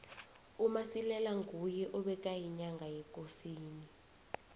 umasilela nguye ebekayinyanga yekosini